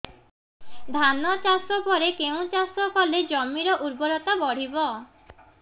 ଧାନ ଚାଷ ପରେ କେଉଁ ଚାଷ କଲେ ଜମିର ଉର୍ବରତା ବଢିବ